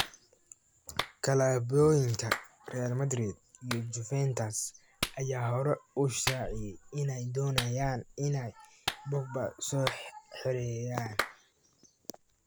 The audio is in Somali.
"Klabuoyinka Real Madrid iyo Juventus ayaa hore u shaaciyay inay doonayaan inay Pogba soo xereeyaan."